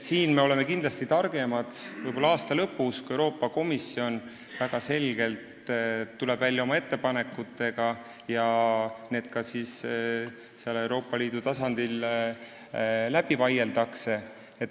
Siin me oleme targemad võib-olla aasta lõpus, kui Euroopa Komisjon tuleb välja oma ettepanekutega ja need ka Euroopa Liidu tasandil läbi vaieldakse.